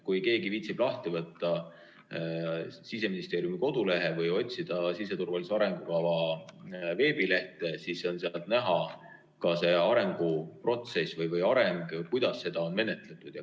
Kui keegi viitsib, võtke lahti Siseministeeriumi koduleht või otsige siseturvalisuse arengukava veebilehelt, sealt on näha ka see arenguprotsess või areng, kuidas seda on menetletud.